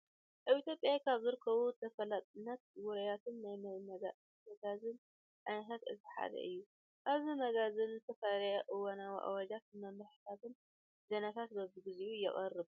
ኣብ ኢትዮጵያ ካብ ዝርከቡ ተፈለጥትን ውርያትን ናይ መጋዝን ዓይነታት እቲ ሓደ እዩ። ኣብዚ መጋዝን ዝተፈላለዩ እዋናዊ ኣዋጃት፣ መምርሕታትን ዜናታት በበግዚኡ የቅርብ።